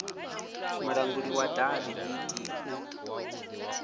mulanguli wa davhi bd u